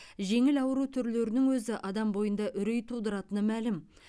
жеңіл ауру түрлерінің өзі адам бойында үрей тудыратыны мәлім